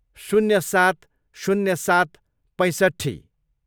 शून्य सात, शून्य सात, पैँसट्ठी